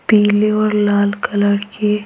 पीले और लाल कलर के --